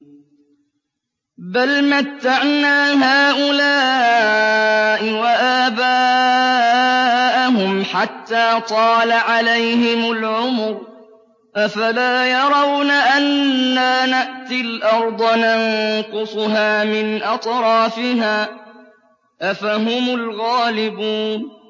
بَلْ مَتَّعْنَا هَٰؤُلَاءِ وَآبَاءَهُمْ حَتَّىٰ طَالَ عَلَيْهِمُ الْعُمُرُ ۗ أَفَلَا يَرَوْنَ أَنَّا نَأْتِي الْأَرْضَ نَنقُصُهَا مِنْ أَطْرَافِهَا ۚ أَفَهُمُ الْغَالِبُونَ